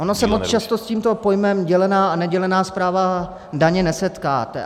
Ono se moc často s tímto pojmem - dělená a nedělená správa daně - nesetkáte.